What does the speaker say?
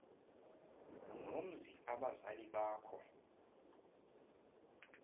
nomzi abazali bakho